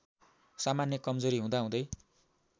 सामान्य कमजोरी हुँदाहुँदै